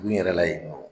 Dugu in yɛrɛ la yen nɔ